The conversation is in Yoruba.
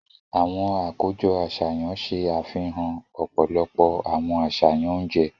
Awọn akojọ aṣayan ṣe àfihàn ọpọlọpọ awọn aṣayan oúnjẹ.